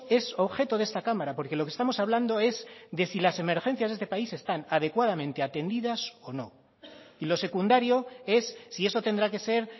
es objeto de esta cámara porque lo que estamos hablando es de si las emergencias de este país están adecuadamente atendidas o no y lo secundario es si eso tendrá que ser